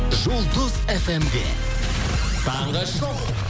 жұлдыз фм де таңғы шоу